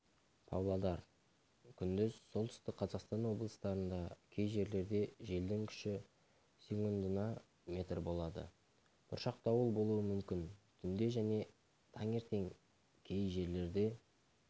павлодар күндіз солтүстік қазақстан облыстарында кей жерлерде желдің күші секундына метр болады бұршақ дауыл болуы мүмкін түнде және таңертең кей жерлерде